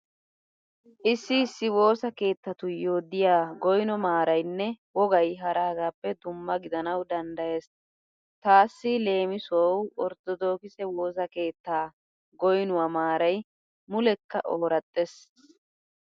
Issi issi woosa keettatuyyo diya goyno maaraynne wogay haragaappe dumma gidanawu danddayees. Taassi leemisuwawu orttodokise woosa keettaa goynuwa maaray mulekka ooraxxees.